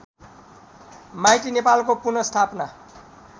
माइती नेपालको पुनःस्थापना